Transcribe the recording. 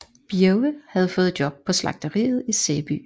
Birge havde fået job på slagteriet i Sæby